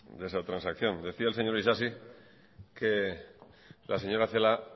de esa transacción decía el señor isasi que la señora celaá